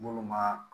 Minnu ma